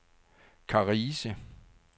Karise